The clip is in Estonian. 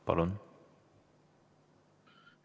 Palun!